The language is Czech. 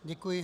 Děkuji.